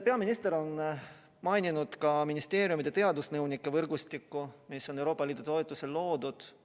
Peaminister on maininud ka ministeeriumide teadusnõunike võrgustikku, mis on Euroopa Liidu toetusel loodud.